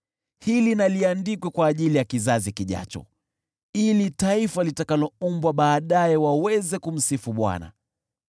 Hili na liandikwe kwa ajili ya kizazi kijacho, ili taifa litakaloumbwa baadaye waweze kumsifu Bwana :